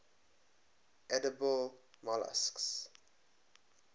edible molluscs